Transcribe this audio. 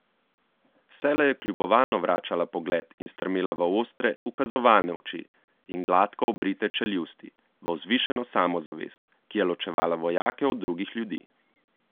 Vselej je kljubovalno vračala pogled in strmela v ostre, ukazovalne oči in gladko obrite čeljusti, v vzvišeno samozavest, ki je ločevala vojake od drugih ljudi.